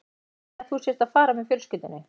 Segðu henni að þú sért að fara með fjölskyldunni